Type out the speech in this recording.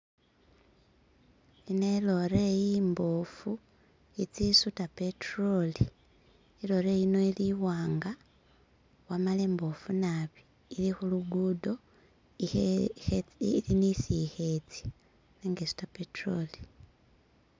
ino ilore imbofu itsisuta petroli ilole iyi ili iwanga wamala ili imbofu naabi ili hulugudo ili nisi ihe tsa nenga isuta petroli